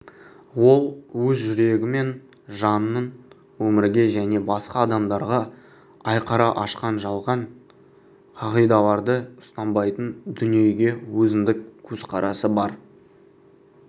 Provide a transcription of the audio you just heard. ол өз жүрегі мен жанын өмірге және басқа адамдарға айқара ашқан жалған қағидаларды ұстанбайтын дүниеге өзіндік көзқарасы бар